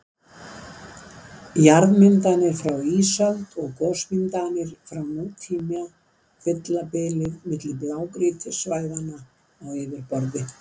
Jarðmyndanir frá ísöld og gosmyndanir frá nútíma fylla bilið milli blágrýtissvæðanna á yfirborði.